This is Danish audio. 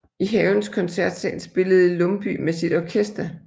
I havens koncertsal spillede Lumbye med sit orkester